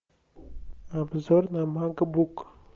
обзор на макбук